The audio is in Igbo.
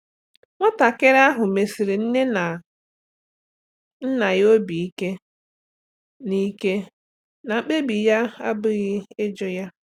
Nwatakịrị ahụ mesiri nne na nna ya obi ike na ike na mkpebi ya abụghị ijụ ya.